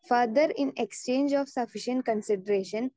speaker 2 further in exchange of sufficient consideration